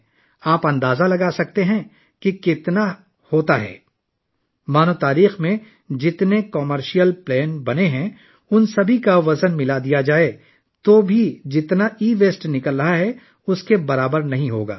کیا آپ اندازہ لگا سکتے ہیں کہ کتنا؟ اگر بنی نوع انسان کی تاریخ میں بنائے گئے تمام تجارتی طیاروں کا وزن بھی ملایا جائے تو یہ ای ویسٹ کی مقدار کے برابر نہیں ہوگا